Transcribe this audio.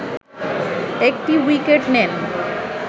১টি উইকেট নেন